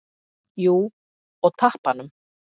Jú, og tappanum.